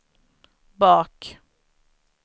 bak